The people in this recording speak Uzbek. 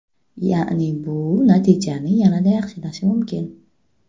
Ya’ni bu natijani yanada yaxshilashi mumkin.